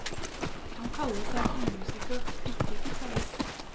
Han kaller seg for musiker, ikke gitarist.